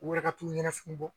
U yɛrɛ ka t'u ɲɛnafin bɔ.